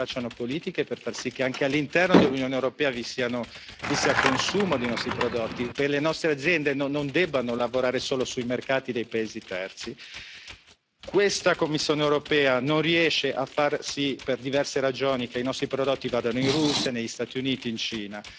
Quindi, si facciano politiche per far sì che anche all'interno dell'Unione europea vi sia consumo dei nostri prodotti e che le nostre aziende non debbano lavorare solo sui mercati dei paesi terzi. Questa Commissione europea non riesce a far sì, per diverse ragioni, che i nostri prodotti vadano in Russia, negli Stati Uniti, in Cina.